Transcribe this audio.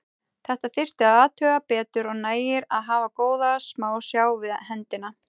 Þetta þyrfti að athuga betur og nægir að hafa góða smásjá við hendina.